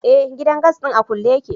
Eh, gidan gas din a kulle yake.